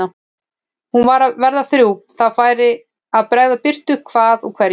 Hún var að verða þrjú, það færi að bregða birtu hvað úr hverju.